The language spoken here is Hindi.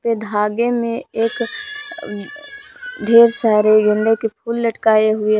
धागे मे एक ढेर सारे गेंदे के फूल लटकाए हुए--